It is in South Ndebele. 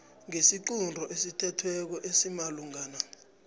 ngesiqunto esithethweko esimalungana